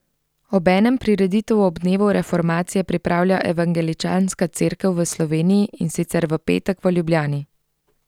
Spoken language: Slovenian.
Obenem prireditev ob dnevu reformacije pripravlja evangeličanska cerkev v Sloveniji, in sicer v petek v Ljubljani.